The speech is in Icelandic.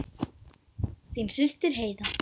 Þín systir Heiða.